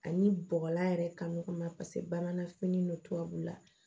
Ani bɔgɔla yɛrɛ kan ɲɔgɔn ma ba n'a fini don tubabu la